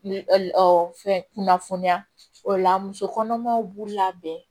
Fɛn kunnafoniya o la musokɔnɔmaw b'u labɛn